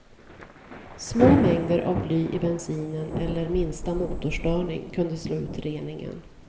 Små mängder av bly i bensinen eller minsta motorstörning kunde slå ut reningen.